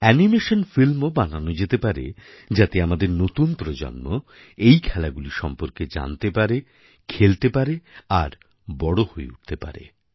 animation ফিল্মও বানানো যেতে পারে যাতে আমাদের নতুন প্রজন্ম এই খেলাগুলি সম্পর্কে জানতে পারে খেলতে পারে আর বড় হয়ে উঠতে পারে